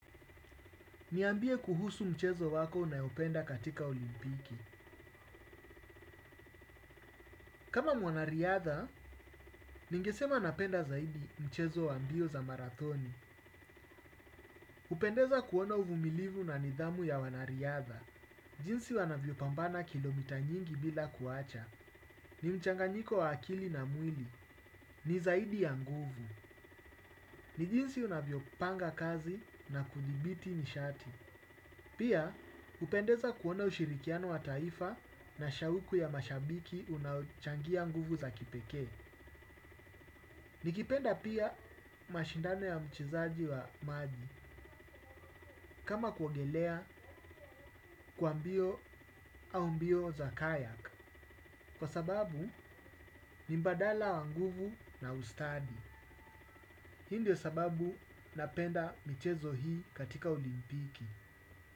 Niambie kuhusu mchezo wako unayopenda katika olimpiki. Kama mwanariadha, ningesema napenda zaidi mchezo wa mbio za marathoni. Upendeza kuona uvumilivu na nidhamu ya wanariadha. Jinsi wanavyo pambana kilomita nyingi bila kuacha. Ni mchanganyiko wa akili na mwili. Ni zaidi ya nguvu. Ni jinsi unavyo panga kazi na kudhibiti nishati. Pia, hupendeza kuona ushirikiano wa taifa na shauku ya mashabiki, unaochangia nguvu za kipekee. Nikipenda pia, mashindano ya mchizaji wa maji kama kuongelea, kwa mbio au mbio za kayak. Kwa sababu ni mbadala wa nguvu na ustadi. Hii ndio sababu, napenda mchezo hii katika ulimpiki.